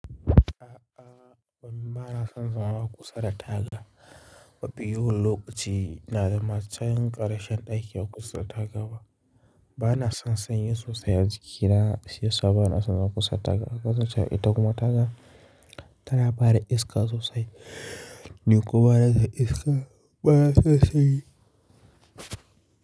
A'a, domin ba na son zama a kusa da taga. Mafi yawan lokaci na zama cikin ƙarshen ɗaki a kusa da taga ba. Ba na son sanyin sosai a jikina shiyasa bana son zauna kusa da taga. Haka za ta iya ita kuma taga tana fara iska sosai. Ni kuma bana son iska, bana son sanyi.